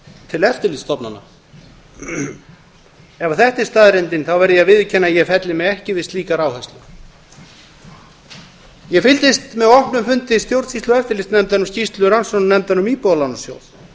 til eftirlitsstofnana ef þetta er staðreyndin verð ég að viðurkenna að ég felli mig ekki við slíkar áherslur ég fylgdist með opnum fundi stjórnsýslu og eftirlitsnefndar um skýrslu rannsóknarnefndar um íbúðalánasjóð